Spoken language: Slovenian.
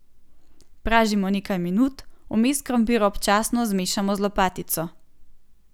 Pražimo nekaj minut, vmes krompir občasno zmešamo z lopatico.